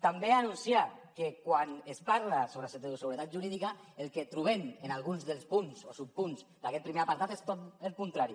també anunciar que quan es parla sobre seguretat jurídica el que trobem en alguns dels punts o subpunts d’aquest primer apartat és tot el contrari